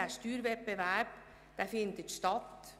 Der Steuerwettbewerb findet statt.